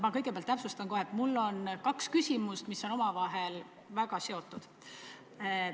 Ma kõigepealt täpsustan, et mul on kaks küsimust, mis on omavahel väga seotud.